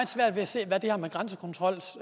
svært ved at se hvad det her med grænsekontrol